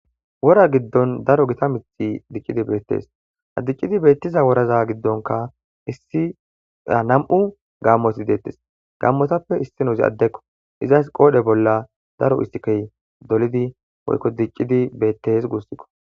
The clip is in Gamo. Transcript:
Wora gidon daro gita mithati dicidi beetes ha dicidi beetiza wora gidonka nam'u gaamoy beetes gaamotape issinozi adeko izas qoodhe bolan daro esike dolidine woyko dicidi beetes guusiko.